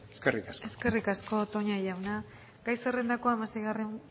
eskerrik asko eskerrik asko toña jauna gai zerrendako hamaseigarren